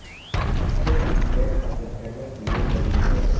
اس لیپت سلیٹ حاصل کرنے کے لئے ضروری ہے